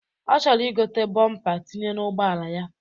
Ọ chọrọ igote bọmpa tinye n'ụgbọala ya